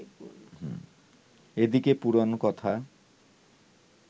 এদিকে পুরাণকথা